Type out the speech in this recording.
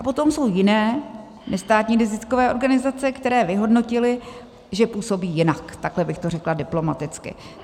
A potom jsou jiné nestátní neziskové organizace, které vyhodnotili, že působí jinak, takhle bych to řekla diplomaticky.